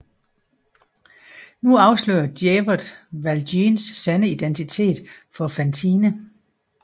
Nu afslører Javert Valjeans sande identitet for Fantine